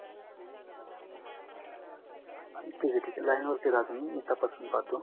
ठीक आहे ठीक आहे लाइन वरती राह तुम्ही मी तपासून पाहतो